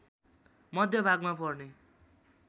मध्य भागमा पर्ने